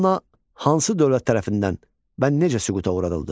Manna hansı dövlət tərəfindən və necə süquta uğradıldı?